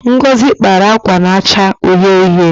Ngozi kpara akwa na-acha uhie uhie.